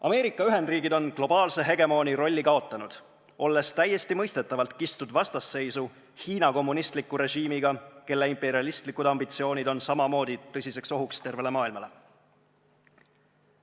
Ameerika Ühendriigid on globaalse hegemooni rolli kaotanud, olles täiesti mõistetavalt kistud vastasseisu Hiina kommunistliku režiimiga, kelle imperialistlikud ambitsioonid on samamoodi tõsiseks ohuks tervele maailmale.